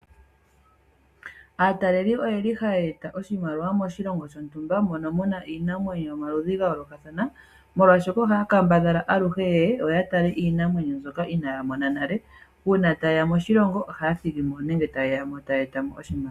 Aataleli oyi li haya eta oshimaliwa moshilongo shontumba mono muna iinamwenyo yomaludhi gayolokathana molwashoka ohaya kambadhala aluhe yeye ya tale iinamwenyo mbyoka inaya mona nale una ta yeya moshilongo ohaya thigi mo nenge taye ya mo taya eta mo oshimaliwa